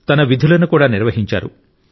తన విధులను కూడా నిర్వహించారు